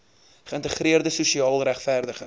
geïntegreerde sosiaal regverdige